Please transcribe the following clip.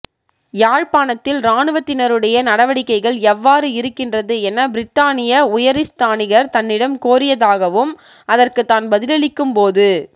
யாழ்ப்பாணத்தில் இராணுவத்தினருடைய நடவடிக்கைகள் எவ்வாறு இருக்கின்றது என பிரித்தானிய உயரிஸ்தானிகர் தன்னிடம் கோரியதாகவும் அதற்கு தான் பதிலளிக்கும்போது